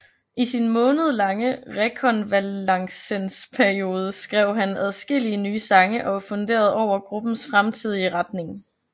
I sin månedlange rekonvalescensperiode skrev han adskillige nye sange og funderede over gruppens fremtidige retning